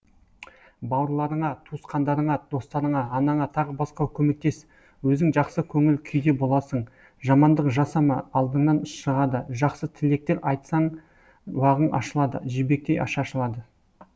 бауырларыңа туысқандарыңа достарыңа анаңа тағы басқа көмектес өзің жақсы көңіл күйде боласың жамандық жасама алдыңнан шығады жақсы тілектер айтсаң бағың ашылады жібектей шашылады